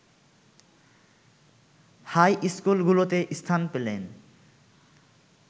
high স্কুলগুলোতে স্থান পেলেন